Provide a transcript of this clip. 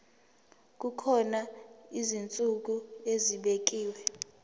kukhona izinsuku ezibekiwe